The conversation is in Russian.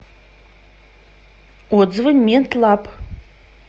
отзывы медлаб